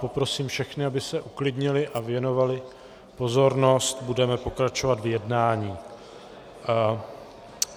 Poprosím všechny, aby se uklidnili a věnovali pozornost, budeme pokračovat v jednání.